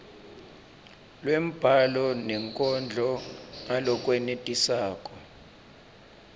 lwembhalo nenkondlo ngalokwenetisako